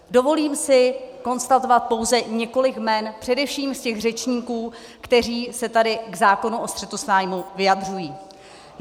Dovolím si konstatovat pouze několik jmen především z těch řečníků, kteří se tady k zákonu o střetu zájmů vyjadřují.